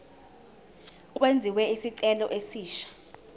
kwenziwe isicelo esisha